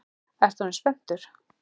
Ertu orðinn spenntur?